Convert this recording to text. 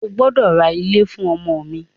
O gbọ́dọ̀ ra ilé fún ọmọ mi!